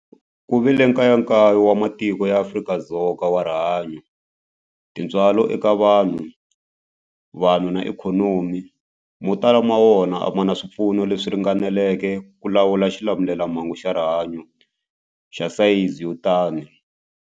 Ku vile nkayakayo wa matiko ya Afrika wa rihanyu, tintswalo eka vanhu, vanhu na ikhonomi, mo tala ma wona a ma na swipfuno leswi ringaneleke ku lawula xilamulelamhangu xa rihanyu xa sayizi yo tani.